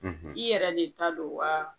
; I yɛrɛ de ta don waaa?